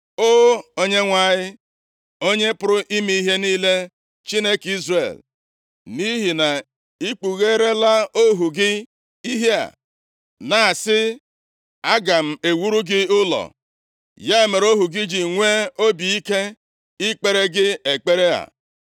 “O Onyenwe anyị, Onye pụrụ ime ihe niile, Chineke Izrel, nʼihi na ị kpugheerela ohu gị ihe a, na-asị, ‘Aga m ewuru gị ụlọ.’ Ya mere, ohu gị ji nwee obi ike ikpere gị ekpere a.